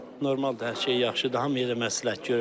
Normaldır, hər şey yaxşıdır, hamıya da məsləhət görürəm.